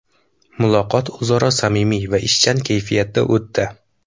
Muloqot o‘zaro samimiy va ishchan kayfiyatda o‘tdi.